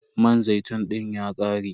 Man zaitun dina ya ƙare.